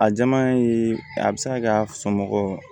A jama ye a bɛ se ka kɛ a somɔgɔ